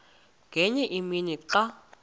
ngenye imini xa